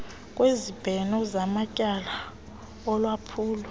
kwezibheno zamatyala olwaphulo